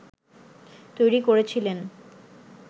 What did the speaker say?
তৈরি করেছিলেন